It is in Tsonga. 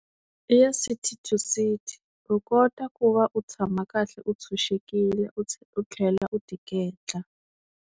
I ya City to City u kota ku va u tshama kahle u tshunxekile u u tlhela u tiketla.